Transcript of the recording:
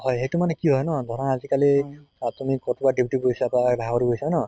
হয় সেইটো মানে কি হয় ন দৰা আজি কালি আহ তুমি কতোবা duty গৈছা বা বাহিৰ গৈছা ন